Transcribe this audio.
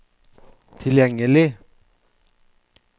tilgjengelig